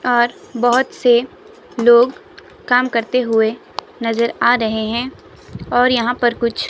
और बहोत से लोग काम करते हुए नजर आ रहे है और यहां पर कुछ--